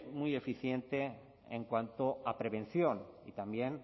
muy eficiente en cuanto a prevención y también